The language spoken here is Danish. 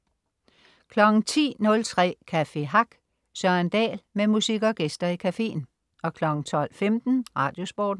10.03 Café Hack. Søren Dahl med musik og gæster i caféen 12.15 Radiosporten